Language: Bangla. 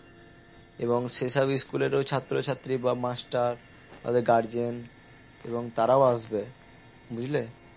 এবং সে হিসেবে school এর ও ছাত্র ছাত্রী বা master তাদের guardian এবং তারাও আসবে বুঝলে?